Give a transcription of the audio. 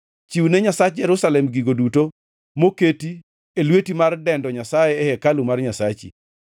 Chiwne Nyasach Jerusalem gigo duto moket e lweti mar dendo Nyasaye e hekalu mar Nyasachi.